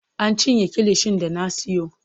An cinye kilishin da na siyo.